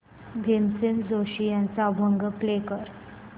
भीमसेन जोशी यांचा अभंग album play कर